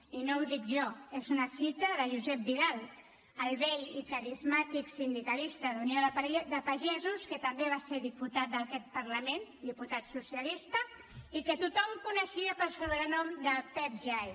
i no ho dic jo és una cita de josep vidal el vell i carismàtic sindicalista d’unió de pagesos que també va ser diputat d’aquest parlament diputat socialista i que tothom coneixia pel sobrenom de pep jai